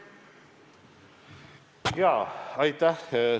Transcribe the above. Jaa, aitäh!